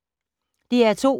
DR2